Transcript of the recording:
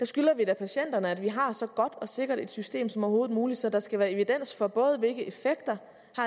skylder vi da patienterne at vi har så godt og sikkert et system som overhovedet muligt så der skal være evidens for både hvilke effekter